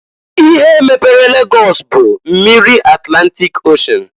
Ihe mepere Lagọs bụ mmiri Atlantịk Oshen.